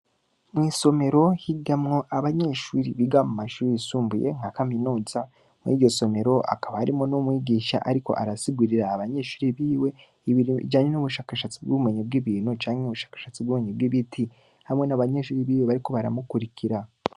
Mw’isomero, higamwo abanyeshuri bo mu mashuri yisumbuye nka kaminuza, muri iryo somero hakaba harimwo n’umwigisha, ariko arasigurira abanyeshure biwe, ibintu bijanye n’ubushakashatsi bw’ubumenyi bw’ibintu canke n’ubushakashatsi bw’ubumenyi bw’ibiti; hamwe n’abanyeshuri bariko baramukurikira.